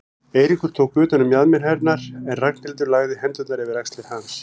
Eiríkur tók utan um mjaðmir hennar en Ragnhildur lagði hendurnar yfir axlir hans.